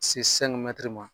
Se ma.